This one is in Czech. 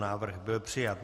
Návrh byl přijat.